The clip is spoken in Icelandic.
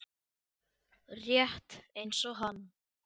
Rétt eins og hann.